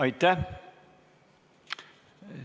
Aitäh!